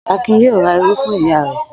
Akin yóò ra irú fún ìyá rẹ̀.